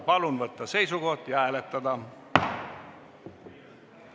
Palun võtta seisukoht ja hääletada!